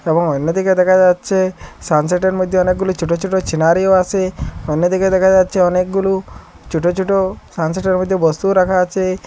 এবং অইন্যদিকে দেখা যাচ্ছে সানসেডের মধ্যে অনেকগুলো ছোট ছোট ছিনারিও আসে অন্য দিকে দেখা যাচ্ছে অনেকগুলো ছোট ছোট সানসেডের মধ্যে বস্তুও রাখা আছে।